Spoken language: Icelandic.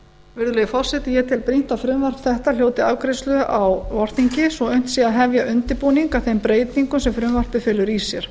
virðulegi forseti ég tel brýnt að frumvarp þetta ljúki afgreiðslu á vorþingi svo unnt sé að hefja undirbúning að þeim breytingum sem frumvarpið felur í sér